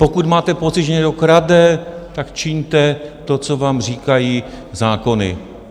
Pokud máte pocit, že někdo krade, tak čiňte to, co vám říkají zákony.